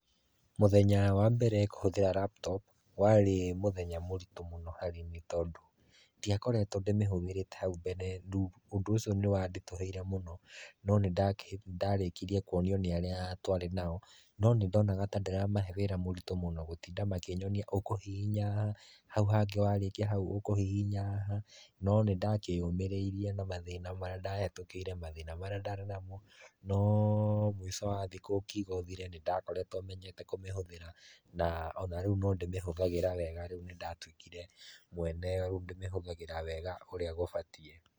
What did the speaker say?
Mũthenya wa mbere kũhũthĩra laptop warĩ mũthenya mũritũ mũno harĩ niĩ tondũ ndiakoretwo ndĩmĩhũthĩrĩte hau mbere rĩu ũndũ ũcio nĩ wanditũhĩire no nĩndarĩkirie kuonio nĩ arĩa twarĩ nao no nĩndonaga ta ndĩramahe wĩra mũritũ mũno gũtinda makĩnyonia ũkũhihinya haha hau hangĩ warĩkia ũkũhihinya haha no nĩndakĩũmĩrĩirie na mathĩna marĩa ndahĩtũkĩire mathĩna marĩa ndarĩ namo no mũico wa thikũ ũkiuga ũthire nĩndakoretwo menyete kũmĩhũthĩra na ona rĩu no ndĩmĩhũthagĩra rĩu ni ndatuĩkire mwene, rĩu ndĩmĩhũthagĩra wega ũrĩa gũbatiĩ.